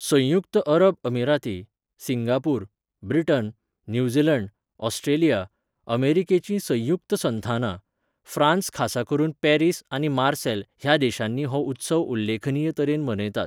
संयुक्त अरब अमिराती , सिंगापूर, ब्रिटन , न्यूझीलंड , ऑस्ट्रेलिया, अमेरिकेची संयुक्त संथानां, फ्रांस खासा करून पॅरिस आनी मार्सेल ह्या देशांनी हो उत्सव उल्लेखनीय तरेन मनयतात.